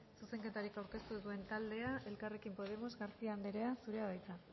zuzenketarik aurkeztu ez duen taldea elkarrekin podemos garcía andrea zurea da hitza